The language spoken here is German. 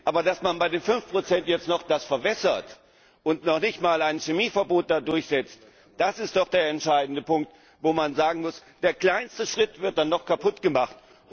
10. Aber, dass man bei 5 das jetzt noch verwässert und noch nicht einmal ein Chemieverbot durchsetzt, das ist doch der entscheidende Punkt, wo man sagen muss, der kleinste Schritt wird dann noch kaputt gemacht.